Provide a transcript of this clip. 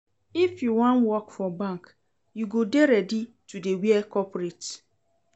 If you wan work for bank, you go dey ready to dey wear corporate.